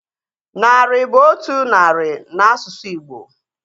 Narị bụ otu narị na asụsụ Igbo